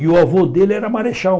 E o avô dele era marechal.